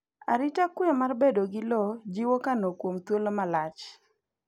arita kwe mar bedo gi lowo jiwo kano kuom thuolo malach